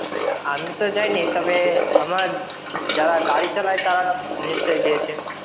আমি তো যাই নি তবে আমার যারা গাড়ি চালায় তারা নিশ্চই গিয়েছে.